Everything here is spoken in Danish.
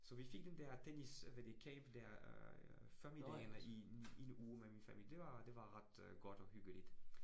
Så vi fik den der tennis hvad det camp der øh familien i en i i en uge med min familie, det var det var ret godt og hyggeligt